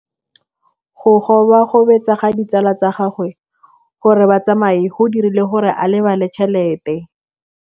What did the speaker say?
Go gobagobetsa ga ditsala tsa gagwe, gore ba tsamaye go dirile gore a lebale tšhelete.